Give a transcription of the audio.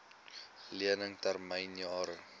lening termyn jare